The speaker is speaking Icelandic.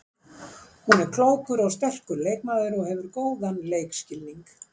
Hún er klókur og sterkur leikmaður og hefur góðan leikskilning.